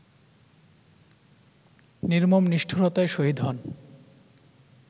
নির্মম নিষ্ঠুরতায় শহীদ হন